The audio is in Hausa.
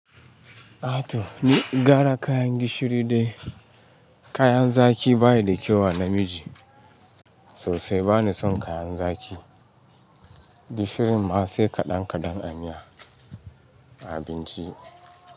Ato ni gara kayan gishiri dai. Kayan zaki bayi da kyau a namiji. Sosai bani son kayan zaki. Gishirin ma sai kaɗan kaɗan a miya, a abinci.